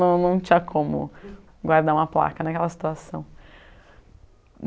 Não não tinha como guardar uma placa naquela situação.